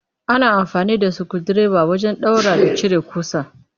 Ana amfani da sukundireba wajen ɗaura da cire ƙusa